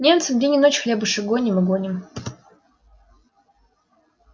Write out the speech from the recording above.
немцам день и ночь хлебушек гоним и гоним